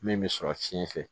Min bɛ sɔrɔ fiɲɛ fɛ